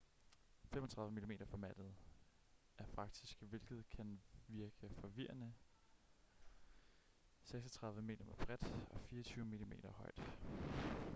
35 mm-formatet er faktisk hvilket kan virke forvirrende 36 mm bredt og 24 mm højt